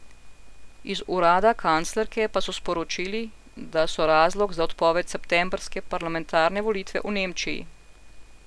Iz urada kanclerke pa so sporočili, da so razlog za odpoved septembrske parlamentarne volitve v Nemčiji.